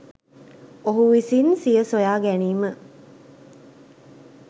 ඔහු විසින් සිය සොයාගැනීම